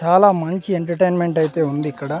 చాలా మంచి ఎంటర్టైన్మెంట్ అయితే ఉంది ఇక్కడ.